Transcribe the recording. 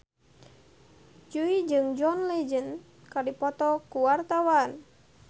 Jui jeung John Legend keur dipoto ku wartawan